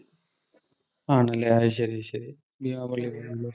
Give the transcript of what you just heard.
ആണല്ലേ. അത് ശരി ശരി. ബീമാ പള്ളി പോയി അല്ലേ.